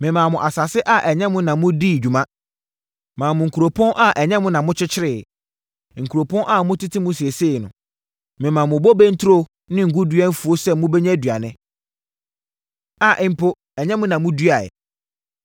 Memaa mo asase a ɛnyɛ mo na modii ho dwuma, maa mo nkuropɔn a ɛnyɛ mo na mokyekyereeɛ, nkuropɔn a mote mu seesei no. Memaa mo bobe nturo ne ngo dua mfuo sɛ mobɛnya aduane, a mpo ɛnyɛ mo na moduaeɛ.